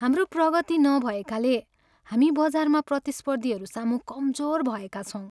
हाम्रो प्रगति नभएकाले हामी बजारमा प्रतिस्पर्धीहरूसामु कमजोर भएका छौँ।